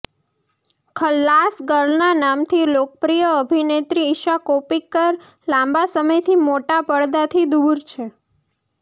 ખલ્લાસ ગર્લના નામથી લોકપ્રિય અભિનેત્રી ઈશા કોપ્પીકર લાંબા સમયથી મોટા પડદાથી દૂર છે